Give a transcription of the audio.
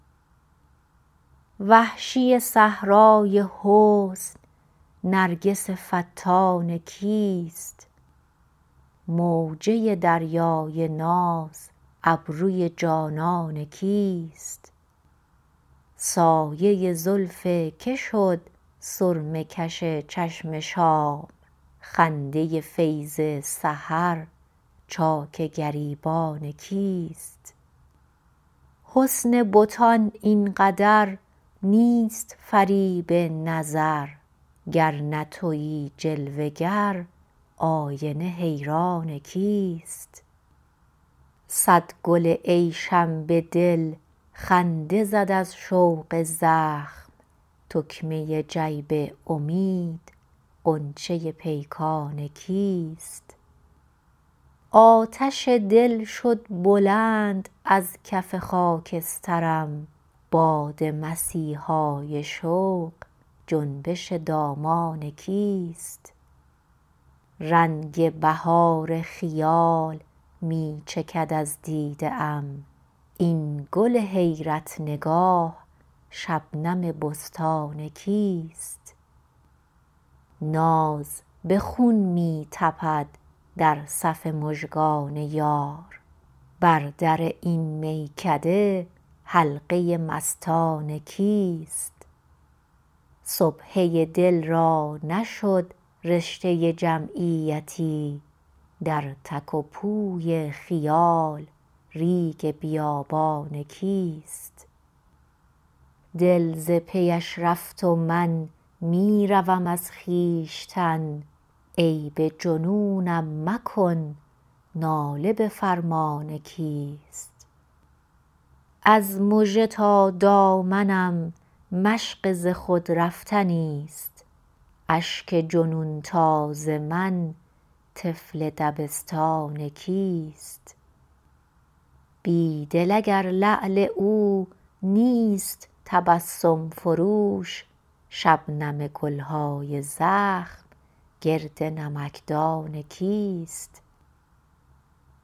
وحشی صحرای حسن نرگس فتان کیست موجه دریای ناز ابروی جانان کیست سایه زلف که شد سرمه کش چشم شام خنده فیض سحر چاک گریبان کیست حسن بتان اینقدر نیست فریب نظر گر نه تویی جلوه گر آینه حیران کیست صد گل عیشم به دل خنده زد از شوق زخم تکمه جیب امید غنچه پیکان کیست آتش دل شد بلند از کف خاکسترم باد مسیحای شوق جنبش دامان کیست رنگ بهار خیال می چکد از دیده ام این گل حیرت نگاه شبنم بستان کیست ناز به خون می تپد در صف مژگان یار بر در این میکده حلقه مستان کیست سبحه دل را نشد رشته جمعیتی در تک و پوی خیال ریگ بیابان کیست دل ز پی اش رفت و من می روم از خویشتن عیب جنونم مکن ناله به فرمان کیست از مژه تا دامنم مشق ز خود رفتنیست اشک جنون تاز من طفل دبستان کیست بیدل اگر لعل او نیست تبسم فروش شبنم گل های زخم گرد نمکدان کیست